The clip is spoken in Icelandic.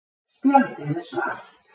Spjaldið er svart.